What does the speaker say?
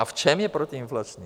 A v čem je protiinflační?